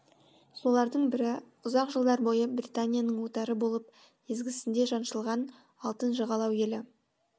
солардың бірі ұзақ жылдар бойы британияның отары болып езгісінде жаншылған алтын жағалау елі